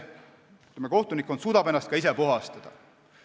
Kohtunikkond suudab ennast ka ise puhastada.